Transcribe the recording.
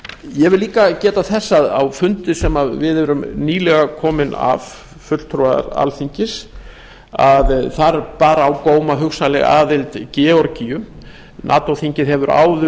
ég vil líka geta þess að á fundi sem við erum nýlega komin af fulltrúar alþingis að þar bar á góma hugsanleg aðild georgíu nato þingið hefur áður